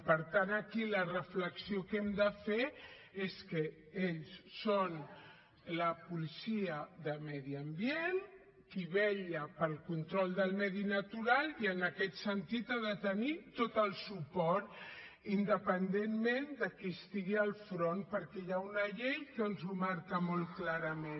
per tant aquí la reflexió que hem de fer és que ells són la policia de medi ambient qui vetlla pel control del medi natural i en aquest sentit ha de tenir tot el suport independentment de qui estigui al front perquè hi ha una llei que ens ho marca molt clarament